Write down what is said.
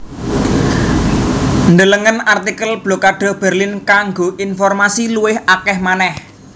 Delengen artikel Blokade Berlin kanggo informasi luwih akèh manèh